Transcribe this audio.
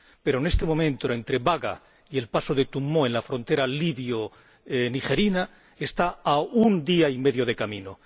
Pero, en este momento, entre Baga y el paso de Tumu en la frontera libio nigerina hay un día y medio de camino.